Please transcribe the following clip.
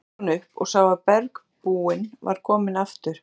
Loks leit hún upp og sá að bergbúinn var kominn aftur.